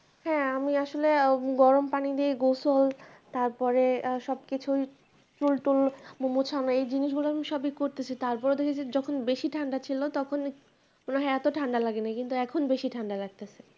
হ্যাঁ আমি আসলে আ গরম পানি দিয়ে গোসল তারপরে আ সবকিছুই চুল টুল মোছাও নাই জিনিস গুলো আমি সবই করতেছি তারপরে দেখি যখন বেশি ঠান্ডা ছিল তখন হ্যাঁ এতো ঠান্ডা লাগেনি কিন্তু এখন বেশি ঠান্ডা লাগতেছে